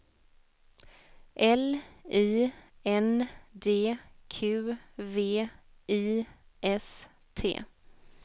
L I N D Q V I S T